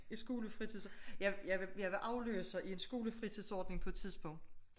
Et skole fritids jeg jeg var afløser i en skole fritidsordning på et tidspunkt